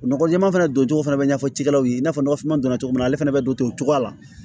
Nɔgɔ jɛɛma fɛnɛ don cogo fɛnɛ bɛ ɲɛfɔ cikɛlaw ye i n'a fɔ nɔgɔfin dɔrɔn ale fɛnɛ be don to cogoya la